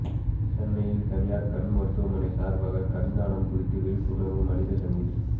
சென்னையில் தனியார் கண் மருத்துவமனை சார்பாக கண்தானம் குறித்த விழிப்புணர்வு மனித சங்கிலி